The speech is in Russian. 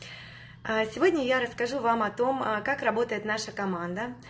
а сегодня я расскажу вам о том как работает наша команда